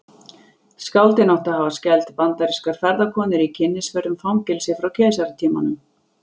Skáldin áttu að hafa skelft bandarískar ferðakonur í kynnisferð um fangelsi frá keisaratímanum.